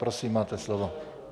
Prosím, máte slovo.